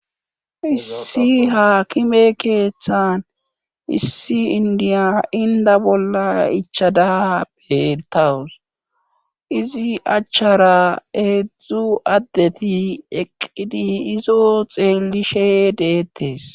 issi haakime keeththan issi indiya inda bolla ichada beettawus izi achchara eedzdzu addeti eqqidi izo xeellishe deettes